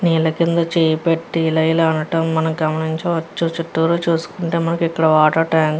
నీళ్ల కింద చేయి పెట్టి ఇలా ఇలా అనడం మనం గమనించవచ్చు. చుట్టూరు చూసుకుంటే మనకిక్కడ వాటర్ ట్యాంక్ --